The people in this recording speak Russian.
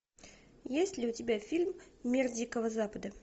есть ли у тебя фильм мир дикого запада